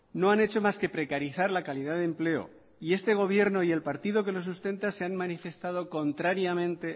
no han hecho más que precarizar la calidad de empleo y este gobierno y el partido que lo sustenta se han manifestado contrariamente